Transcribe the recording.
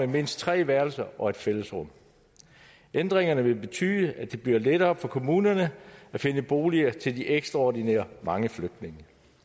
mindst tre værelser og et fællesrum ændringerne vil betyde at det bliver lettere for kommunerne at finde boliger til de ekstraordinært mange flygtninge